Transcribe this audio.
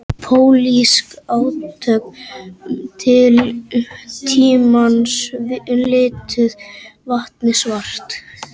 Pólitísk átök tímans lituðu vatnið svart